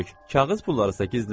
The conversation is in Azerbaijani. Kağız pullarını isə gizlət.